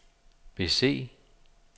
bese